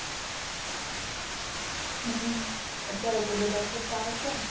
હમ અત્યારે તો બઘા શું આવશે